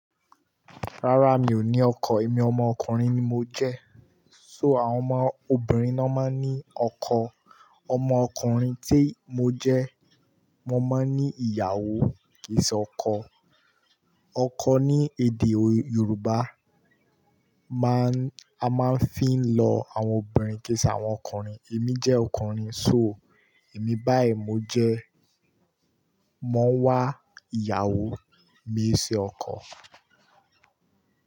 Rárá, mi ò ní ọkọ. Èmi ọmọ ọkùnrin ni mo jẹ́. So àwọn omo obìnrin ni wọ́n máa ń ní ọkọ. Ọmọ ọkùnrin tí mo jẹ́, mo máa ń ní ìyàwó kìí ṣe oko Ọkọ ní èdè Yorùbá a máa ń fi ń lọ àwọn obìnrin kì í ṣe àwọn ọkùnrin. Èmi jẹ́ ọkùnrin. So èmi báyìí mo jẹ́, mo ń wá ìyàwó, mi ṣe ọkọ.